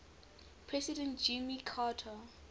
president jimmy carter